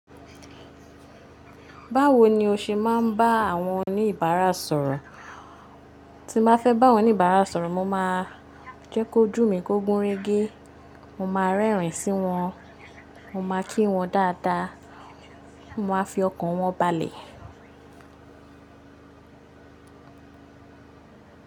Báwo ni o ṣe máa ń bá àwọn oníbàárà sọ̀rọ̀? Tí mo bá fẹ́ bá àwon oníbàárà sọ̀rọ̀, mo máa jẹ́ kí ojú mi kó gúnrégé, mo máa rẹ́rìn sí wọn, mo máa kí wọn dáadáa, mo máa fi ọkàn wọn balẹ̀.